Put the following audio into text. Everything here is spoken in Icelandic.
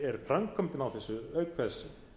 framkvæmdin á þessu auk þess